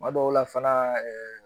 Kuma dɔw la fana